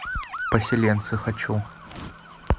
поселенцы хочу